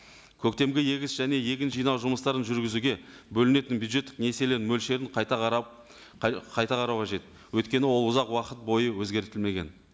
көктемгі егіс және егін жинау жұмыстарын жүргізуге бөлінетін бюджеттік несиелер мөлшерін қайта қарап қайта қарау қажет өйткені ол ұзақ уақыт бойы өзгертілмеген